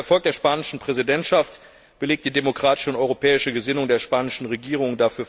Dieser Erfolg der spanischen Präsidentschaft belegt die demokratische und europäische Gesinnung der spanischen Regierung.